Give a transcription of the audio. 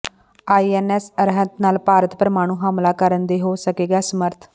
ਆਈ N S Arihant ਨਾਲ ਭਾਰਤ ਪਰਮਾਣੂ ਹਮਲਾ ਕਰਨ ਦੇ ਹੋ ਸਕੇਗਾ ਸਮਰੱਥ